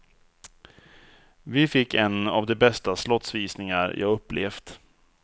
Vi fick en av de bästa slottsvisningar jag upplevt.